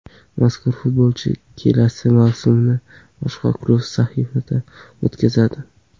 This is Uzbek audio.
Mazkur futbolchi kelasi mavsumni boshqa klub safida o‘tkazadi.